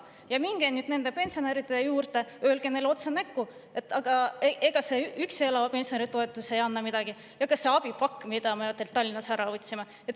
Ja minge nüüd nende pensionäride juurde ja öelge neile otse näkku, et see üksi elava pensionäri toetus ei anna midagi ega ka see abipakk, mille te neilt Tallinnas ära võtsite.